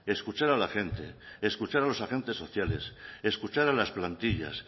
escuchar a la gente escuchar a los agentes sociales escuchar a las plantillas